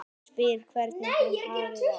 Spyr hvernig hún hafi það.